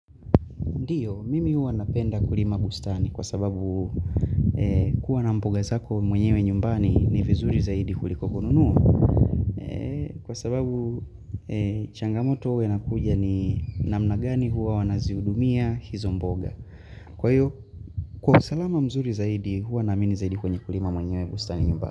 Ndiyo, mimi huwa napenda kulima bustani kwa sababu kuwa na mboga zako mwenyewe nyumbani ni vizuri zaidi huliko kununua. Kwa sababu changamoto huwa inakuja ni namna gani huwa wanazihudumia hizo mboga. Kwa hiyo, kwa usalama mzuri zaidi huwa naamini zaidi kwenye kulima mwenyewe bustani nyumbani.